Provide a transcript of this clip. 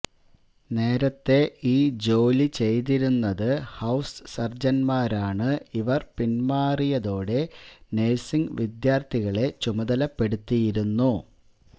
നേരത്തെ ഈ ജോലി ചെയ്തിരുന്നത് ഹൌസ് സര്ജന്മാരാണ് ഇവര് പിന്മാറിയതോടെ നേഴ്സിംഗ് വിദ്യാര്ത്ഥികളെ ചുമതലപ്പെടുത്തിയിരുന്നു